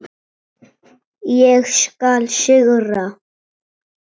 Ég tók hana.